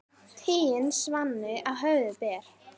Tigin svanni á höfði ber.